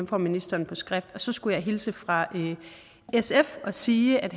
får ministeren skriftligt og så skal jeg hilse fra sf og sige at